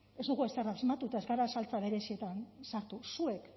ez dugu ezer asmatu eta ez gara saltsa berezietan sartua zuek